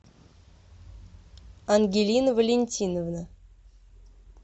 ангелина валентиновна